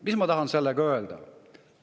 Mis ma tahan sellega öelda?